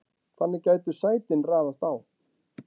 þannig gætu sætin raðast á